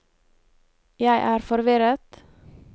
jeg er forvirret